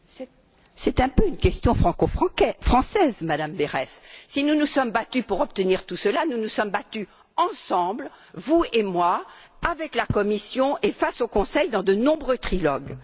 Madame Berès, c'est un peu une question franco française. Si nous nous sommes battus pour obtenir tout cela, nous nous sommes battus ensemble, vous et moi, avec la Commission et face au Conseil dans de nombreux trilogues.